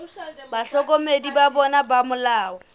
bahlokomedi ba bona ba molao